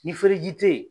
Ni feereji tɛ yen